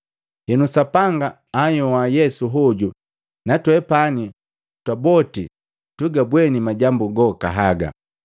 Henu, Sapanga anhyoa Yesu hoju natwepani twaboti tugabweni majambo goka haga.